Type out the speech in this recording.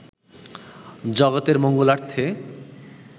জগতের মঙ্গলার্থে